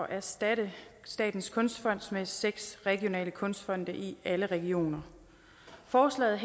erstatte statens kunstfond med seks regionale kunstfonde i alle regioner forslaget